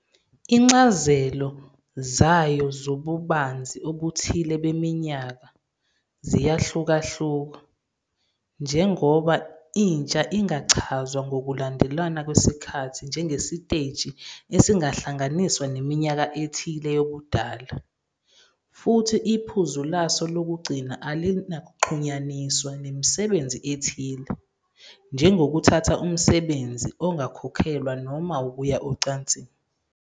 Izincazelo zayo zobubanzi obuthile beminyaka ziyahlukahluka, njengoba intsha ingachazwa ngokulandelana kwesikhathi njengesiteji esingahlanganiswa neminyaka ethile yobudala, futhi iphuzu laso lokugcina alinakuxhunyaniswa nemisebenzi ethile, njengokuthatha umsebenzi ongakhokhelwa noma ukuya ocansini.